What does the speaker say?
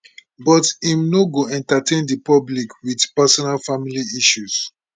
but im no go entertain di public wit personal family issues